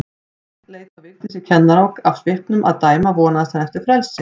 Svenni leit á Vigdísi kennara og af svipnum að dæma vonaðist hann eftir frelsi.